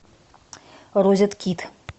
розеткид